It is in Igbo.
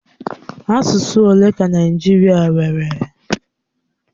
Asụsụ ole ka Naịjirịa nwere?